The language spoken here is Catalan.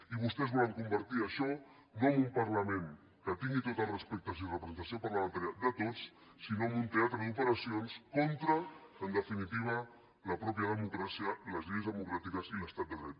i vostès volen convertir això no en un parlament que tingui tots els respectes i la representació parlamentària de tots sinó en un teatre d’operacions contra en definitiva la democràcia mateixa les lleis democràtiques i l’estat de dret